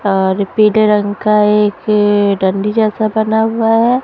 और पीले रंग का एक अअ डंडी जैसा बना हुआ है।